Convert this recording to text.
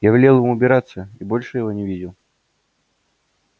я велел ему убираться и больше его не видел